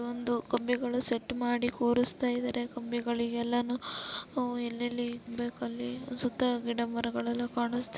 ಒಂದು ಕಂಬಿಗಳು ಸೆಟ್ ಮಾಡಿ ಕೂರುಸ್ತಾ ಇದ್ದಾರೆ ಕಂಬಿಗಳಿಗೆಲ್ಲಾನು ಅವು ಎಲ್ಲಿ ಎಲ್ಲಿಗೆ ಬೇಕು ಅಲ್ಲಿ ಸುತ್ತಾ ಗಿಡ ಮರಗಳೆಲ್ಲಾ ಕಾಣುಸ್ತಾ --